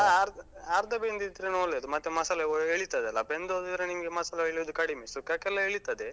ಹ ಅರ್ಧ ಅರ್ಧ ಬೆಂದಿದ್ರೇನೆ ಒಳ್ಳೇದು. ಮತ್ತೆ ಮಸಾಲೆ ಎಳಿತದೆ ಅಲಾ? ಬೆಂದ್ ಹೋದ್ರೆ ನಿಮ್ಗೆ ಮಸಾಲೆ ಎಳಿಯುದು ಕಡಿಮೆ. ಸುಕ್ಕಕ್ಕೆಲ್ಲಾ ಎಳಿತದೆ.